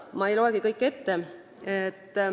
Ma ei loegi kõiki ette.